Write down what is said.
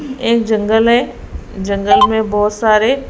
एक जंगल है जंगल में बहोत सारे--